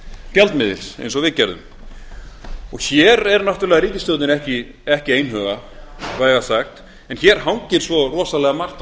gjaldmiðils eins og við gerðum hér er náttúrlega ríkisstjórnin ekki einhuga vægast sagt en hér hangir svo rosalega margt á